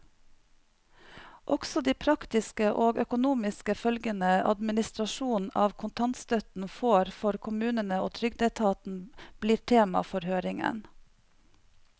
Også de praktiske og økonomiske følgene administrasjonen av kontantstøtten får for kommunene og trygdeetaten, blir tema for høringen.